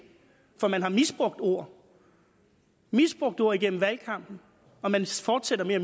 for man har misbrugt ord misbrugt ord igennem valgkampen og man fortsætter med at